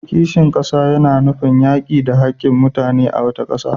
Kishin kasa yana nufin yaki da hakkin mutane a wata kasa.